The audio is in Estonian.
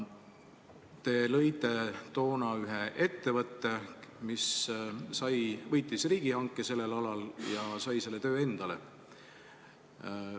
Te lõite toona ühe ettevõtte, mis võitis riigihanke sellel alal ja sai selle töö endale.